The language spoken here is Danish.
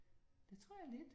Det tror jeg lidt